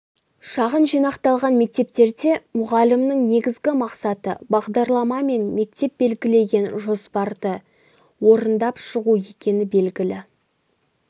шағын жинақталған мектептерде мұғалімнің негізгі мақсаты бағдарлама мен мектеп белгілеген жоспарды орындап шығу екені белгілі